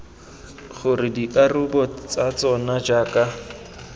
gore dikarabo tsa tsona jaaka